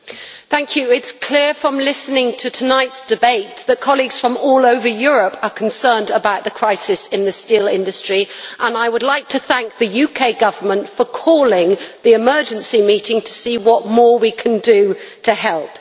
Mr President, it is clear from listening to tonight's debate that colleagues from all over Europe are concerned about the crisis in the steel industry, and I would like to thank the UK Government for calling the emergency meeting to see what more we can do to help.